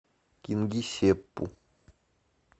кингисеппу